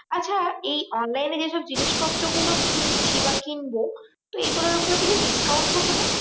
এইবার এই online এ যেসব জিনিসপত্র গুলো কিনছি বা কিনবো তো এগুলোর ওপরে কিছু discount থাকে না?